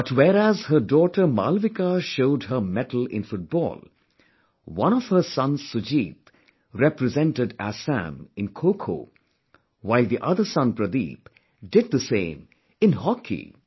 But whereas her daughter Malvika showed her mettle in football, one of her sons Sujit represented Assam in KhoKho, while the other son Pradeep did the same in hockey